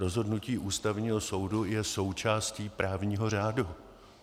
Rozhodnutí Ústavního soudu je součástí právního řádu.